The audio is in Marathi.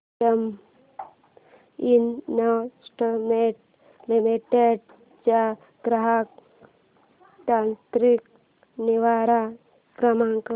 बीएफ इन्वेस्टमेंट लिमिटेड चा ग्राहक तक्रार निवारण क्रमांक